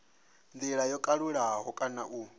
ndila yo kalulaho kana u